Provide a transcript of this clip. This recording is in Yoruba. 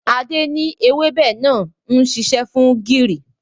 Adé ni èwebẹ̀ náà ń ṣiṣẹ́ fún gìrì.